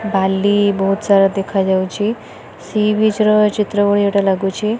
ବାଲି ବହୁତ ସାରା ଦେଖା ଯାଉଛି ସି ବିଚ୍ ର ଚିତ୍ର ଭଳି ଏଟା ଲାଗୁଛି।